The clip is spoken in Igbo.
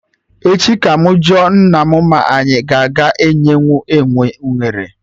Echi ka mụ jụọ nna mụ ma anyị aga enyenwu enwe unere